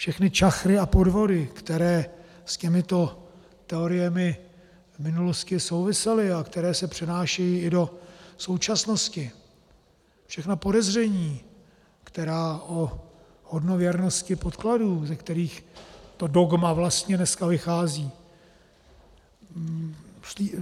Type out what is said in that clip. Všechny čachry a podvody, které s těmito teoriemi v minulosti souvisely a které se přenášejí i do současnosti, všechna podezření, která o hodnověrnosti podkladů, ze kterých to dogma vlastně dneska vychází.